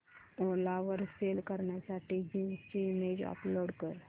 ओला वर सेल करण्यासाठी जीन्स ची इमेज अपलोड कर